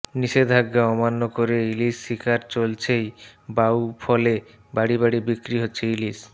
নিষেধাজ্ঞা অমান্য করে ইলিশ শিকার চলছেই বাউফলে বাড়ি বাড়ি বিক্রি হচ্ছে ইলিশ